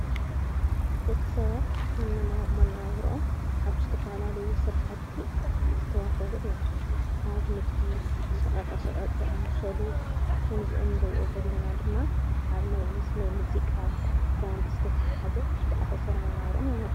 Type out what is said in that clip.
ደቂ ሰባት መነባብሮኦም ኣብ ዝተፈላልዩ ስራሕቲ ዝተዋፈሩ እዮም፡፡ ኣብ ንግዲ ሸቐጣ ሽቓጥ ዝኣመሰሉ ከምዝ እንርኦ ዘለና ድማ ኣብ ናይ ምስ ናይ ሙዚቃ ባንዲ ዘተታሓዘ ዝተኣሳሠረ መነባብሮኦም ይሞርሑ፡፡